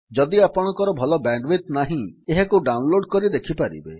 ଯଦି ଆପଣଙ୍କର ଭଲ ବ୍ୟାଣ୍ଡୱିଡଥ୍ ନାହିଁ ଏହାକୁ ଡାଉନଲୋଡ୍ କରି ଦେଖିପାରିବେ